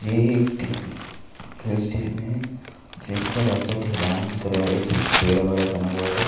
ये एक hill station. जिसका रास्ता ढलान की तरह है। जिस टेढ़ा मेडा बना हुआ है।